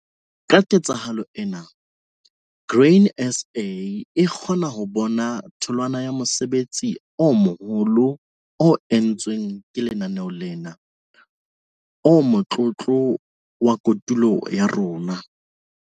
Ka ketsahalo ena, Grain SA e kgona ho bona tholwana ya mosebetsi o moholo o entsweng lenaneong lena. "O motlotlo wa kotulo ya rona."